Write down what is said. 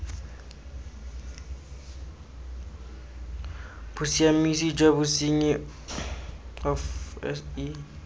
bosiamisi jwa bosenyi of ce